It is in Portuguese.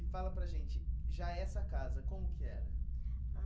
E fala para a gente, já essa casa, como que era?